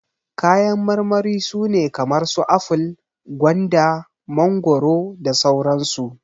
Kayan marmari su ne kamar su aful, gwanda, mangoro, da sauran su.